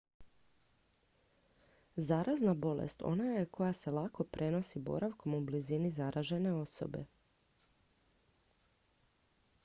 zarazna bolest ona je koja se lako prenosi boravkom u blizini zaražene osobe